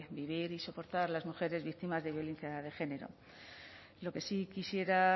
vivir y soportar las mujeres víctimas de violencia de género lo que sí quisiera